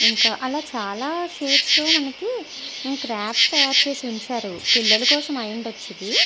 ఇంకా అలా చాలా షీట్స్ తో మనకి క్రాప్స్ తయారు చేసి ఉంచారు పిల్లల కోసం అయి ఉండొచ్చు ఇది.